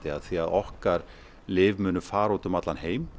af því okkar lyf munu fara út um allan heim